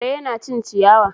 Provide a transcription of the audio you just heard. Kare yana cin ciyawa.